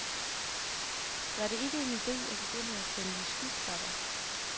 Var det ikke en ide at begynde at sælge skyklapper?